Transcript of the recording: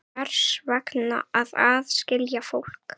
Hvers vegna að aðskilja fólk?